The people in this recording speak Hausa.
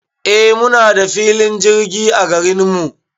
Eh muna da filin jirgi a garinmu